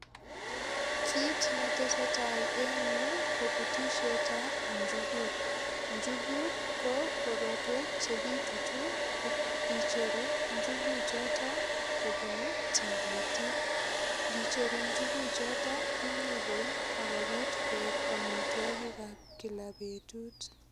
Kit neteseta eng yu kobutisiet ab njuguk. Njuguk ko korotwek che kitutu ip icheru njuguchoto kobunu tikitik. Ngicheru njuguchoto inyibony ak kopit koek amitwogik ab kila betut.